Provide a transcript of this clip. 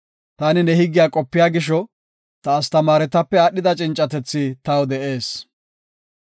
Taani nee higgiya qopiya gisho, ta astamaaretape aadhida cincatethi taw de7ees.